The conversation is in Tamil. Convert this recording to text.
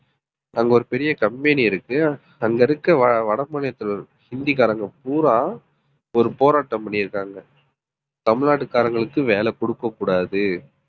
அங்க ஒரு பெரிய company இருக்கு. அங்க இருக்க வட மாநிலத்தில ஹிந்திகாரங்க பூரா ஒரு போராட்டம் பண்ணிருக்காங்க தமிழ்நாட்டுகாரங்களுக்கு வேலை குடுக்கக்கூடாது.